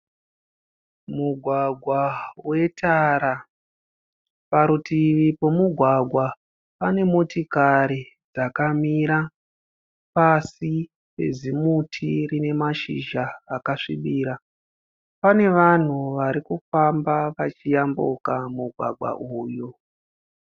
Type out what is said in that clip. Mugwagwa wetara, parutivi pemugwagwa pane motikari yakamira pasi pezimuti rine mashizha akasvibira, pane vanhu varikufamba vachiyambuka mugwagwa uyu